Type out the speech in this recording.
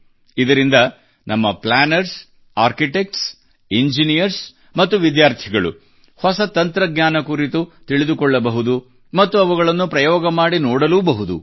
ಇದರಿಂದ ನಮ್ಮ planners architects engineers ಮತ್ತು ವಿದ್ಯಾರ್ಥಿಗಳು ಹೊಸ ತಂತ್ರಜ್ಞಾನ ಕುರಿತು ತಿಳಿದುಕೊಳ್ಳಬಹುದು ಮತ್ತು ಅವುಗಳನ್ನು ಪ್ರಯೋಗ ಮಾಡಿ ನೋಡಲೂ ಬಹುದು